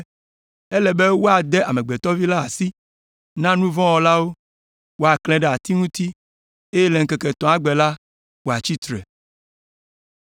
‘Ele be woade Amegbetɔ Vi la asi na nu vɔ̃ wɔlawo, woaklãe ɖe ati ŋuti, eye le ŋkeke etɔ̃a gbe la, wòatsi tsitre.’ ”